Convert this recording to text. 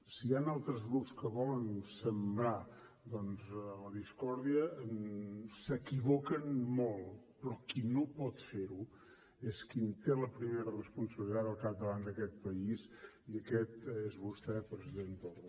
si hi han altres grups que volen sembrar doncs la discòrdia s’equivoquen molt però qui no pot fer ho és qui té la primera responsabilitat al capdavant d’aquest país i aquest és vostè president torra